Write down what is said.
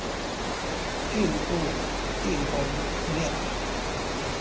iinkukhu iinkomo neehagu